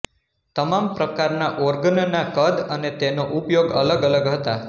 તમામ પ્રકારનાં ઓર્ગનનાં કદ અને તેનો ઉપયોગ અલગ અલગ હતા